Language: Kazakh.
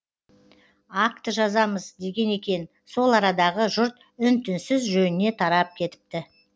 акті жазамыз деген екен сол арадағы жұрт үн түнсіз жөніне тарап кетіпті